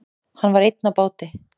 Hann var einn á báti.